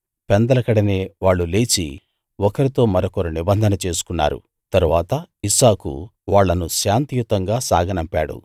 పెందలకడనే వాళ్ళు లేచి ఒకరితో మరొకరు నిబంధన చేసుకున్నారు తరువాత ఇస్సాకు వాళ్ళను శాంతియుతంగా సాగనంపాడు